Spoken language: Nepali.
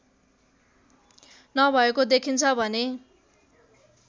नभएको देखिन्छ भने